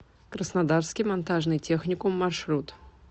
краснодарский монтажный техникум маршрут